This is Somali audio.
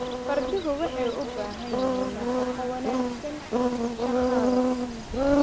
Farduhu waxay u baahan yihiin nafaqo wanaagsan shaqada.